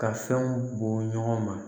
Ka fɛnw bɔn ɲɔgɔn ma